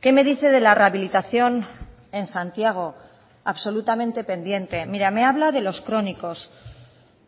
qué me dice de la rehabilitación en santiago absolutamente pendiente mira me habla de los crónicos